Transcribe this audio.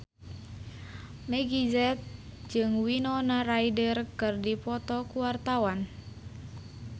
Meggie Z jeung Winona Ryder keur dipoto ku wartawan